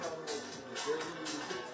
Bilməlisən ki, sənin birincin.